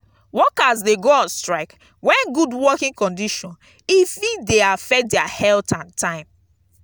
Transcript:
workers de go on strike when good working conditrion e fit de affect their health and time